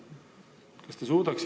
Kuidas teile selline asi tundub?